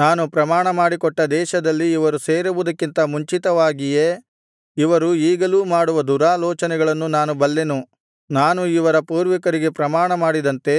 ನಾನು ಪ್ರಮಾಣಮಾಡಿಕೊಟ್ಟ ದೇಶದಲ್ಲಿ ಇವರು ಸೇರುವುದಕ್ಕಿಂತ ಮುಂಚಿತವಾಗಿಯೇ ಇವರು ಈಗಲೂ ಮಾಡುವ ದುರಾಲೋಚನೆಗಳನ್ನು ನಾನು ಬಲ್ಲೆನು ನಾನು ಇವರ ಪೂರ್ವಿಕರಿಗೆ ಪ್ರಮಾಣಮಾಡಿದಂತೆ